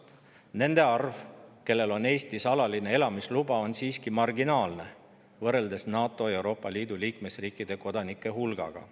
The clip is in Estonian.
Nende arv, kellel on Eestis alaline elamisluba, on siiski marginaalne, võrreldes NATO ja Euroopa Liidu liikmesriikide kodanike hulgaga.